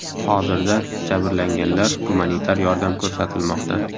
Hozirda jabrlanganlar gumanitar yordam ko‘rsatilmoqda.